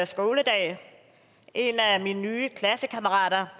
skoledag en af mine nye klassekammerater